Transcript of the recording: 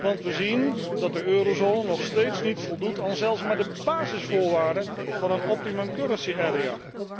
Want we zien dat de eurozone nog steeds niet voldoet aan zelfs maar de basisvoorwaarden van een optimum currency area